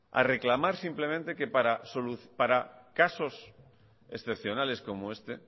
a reclamar simplemente que para casos excepcionales como este